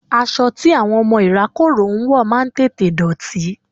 Aṣọ tí àwọn ọmọ ìrákòrò ń wọ̀ máa ń tètè dọ̀tí.